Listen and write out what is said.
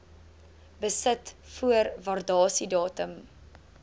besit voor waardasiedatum